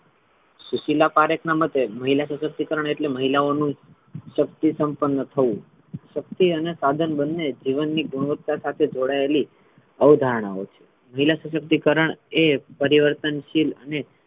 સુશીલા પારેખ ના મતે મહિલા સશક્તિકરણ એટલે મહિલાઓ નુ શક્તિ સંપન્ન થવુ શક્તિ અને સાધન બન્ને જીવન ની ગુણવત્તા સાથે જોડાયેલી અવધારણા હોઇ છે. મહિલા સશક્તિકરણ એ પરિવર્તનશીલ અને,